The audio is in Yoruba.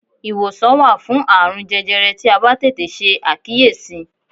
Iwosan wa fun aarun jẹjẹrẹ ti a ba tete se akiyesi